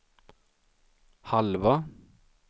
halva